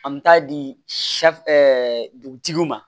An bɛ taa di dugutigiw ma